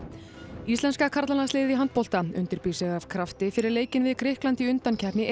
íslenska karlalandsliðið í handbolta undirbýr sig af krafti fyrir leikinn við Grikkland í undankeppni